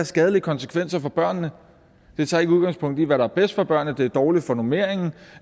skadelige konsekvenser børnene det tager ikke udgangspunkt i hvad der er bedst for børnene det er dårligt for normeringen